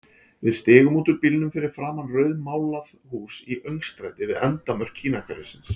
Við stigum út úr bílnum fyrir framan rauðmálað hús í öngstræti við endamörk Kínahverfisins.